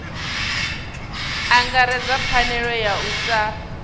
angaredzwa pfanelo ya u sa